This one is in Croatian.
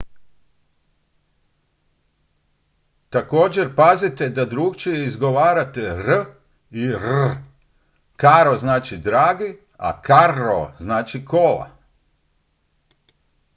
također pazite da drukčije izgovarate r i rr caro znači dragi a carro znači kola